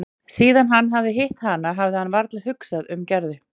Síðan hann hafði hitt hana hafði hann varla hugsað um Gerði.